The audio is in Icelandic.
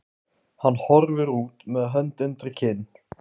Hann horfir út með hönd undir kinn.